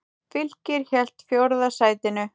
Fylkir hélt fjórða sætinu